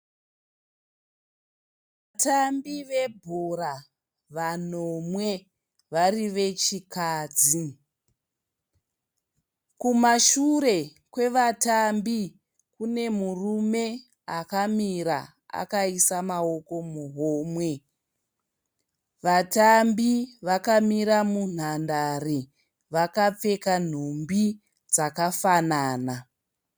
Vatambi vabhora vanomwe vari vechikadzi. Kumashure kwevatambi kune murume akamira akaisa maoko muhomwe. Vatambi vakamira munhandare vakapfeka nhumbi dzakafanana.